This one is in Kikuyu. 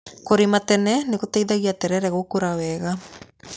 Kũrĩmĩra tene nĩgũteithagia terere gũkũra wega.